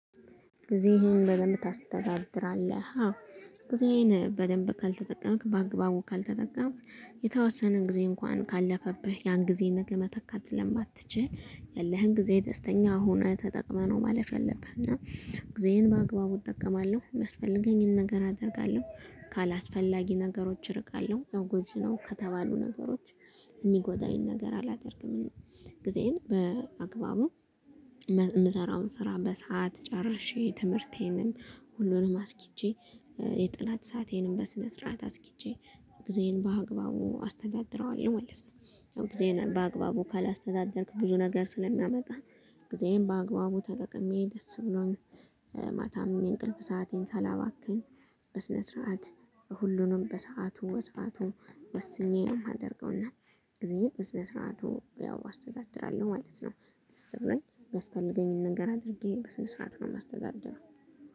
ጊዜህን በደንብ ታስተዳድራለህ? አዎ ጊዜህን በደንብ ካልተጠቀምክ በአግባቡ ካልተጠቀምክ የተወሰነ ጊዜ እንኳን ካለፈብህ ያን ጊዜ ነገ መተካት ስለማትችል ያለህን ጊዜ ደስተኛ ሁነህ ተጠቅመህ ነው። ማለፍ ያለብህ እና ጊዜዬን በአግባቡ እጠቀማለሁ የሚያስፈልገኝን ነገር አደርጋለሁ ካላስፈላጊ ነገሮች እርቃለሁ ያው ጎጂ ነው ከተባሉ ነገሮች የሚጎዳኝ ነገር አላደርግም። ጊዜዬን በአግባቡ የምሰራውን ስራ በሰአት ጨርሼ ትምህርቴንም ሁሉንም አስኪጄ የጥናት ሰአቴንም በስነ ስርዓት አስኪጄ ጊዜን በአግባቡ አስተዳድረዋለሁ ማለት ነው። ጊዜህን በአግባቡ ካላስተዳደርክ ብዙ ነገር ስለሚያመጣ። ጊዜህን በአግባቡ ተጠቅሜ ደስ ብሎኝ። ማታም የእንቅልፍ ሰአቴን ሳላባክን በስነ ስርዓት ሁሉንም በሰአቱ በሰአቱ ወስኜ ነው የማደርገው። እና ጊዜየን በስነ ስርዓቱ ያው አስተዳድራለሁ ማለት ነው። የሚያስፈልገኝን ነገር አድርጌ በስነ ስርዓት ነው የማስተዳደረው።